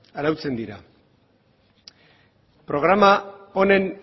arautzen dira programa honen